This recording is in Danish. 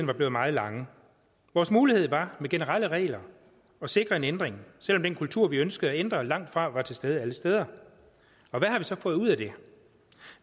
var blevet meget lang vores mulighed var med generelle regler at sikre en ændring selv om den kultur vi ønsker at ændre langtfra var til stede alle steder hvad har vi så fået ud af det